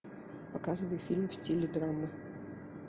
показывай фильм в стиле драмы